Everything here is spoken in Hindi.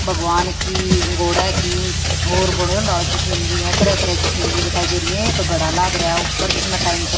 भगवान की गोड़ा की ओर की सीनरी है तरह तरह की सीनरी दिखाई दे रही है एक गड़ा लागरहा ऊपर जिसमें टाइम चल--